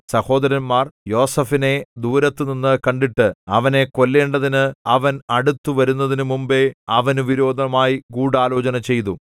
സഹോദരന്മാർ യോസേഫിനെ ദൂരത്തുനിന്ന് കണ്ടിട്ട് അവനെ കൊല്ലേണ്ടതിന് അവൻ അടുത്തുവരുന്നതിനു മുമ്പെ അവനു വിരോധമായി ഗൂഢാലോചന ചെയ്തു